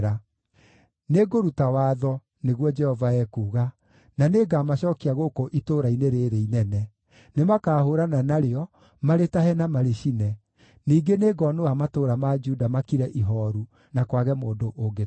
Nĩngũruta watho, nĩguo Jehova ekuuga, na nĩngamacookia gũkũ itũũra-inĩ rĩĩrĩ inene. Nĩmakahũũrana narĩo, marĩtahe na marĩcine. Ningĩ nĩngonũha matũũra ma Juda makire ihooru, na kwage mũndũ ũngĩtũũra kuo.”